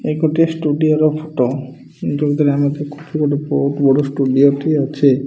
ଏଇ ଗୋଟାଏ ଷ୍ଟୁଡିଓ ର ଫଟ ଯୋଉଥିରେ ଆମେ ଦେଖୁଚୁ ଗୋଟେ ବୋହୁତ୍ ବଡ ଷ୍ଟୁଡିଓ ଟି ଅଛି।